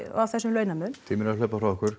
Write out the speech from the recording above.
á þessum launamun tíminn er að hlaupa frá okkur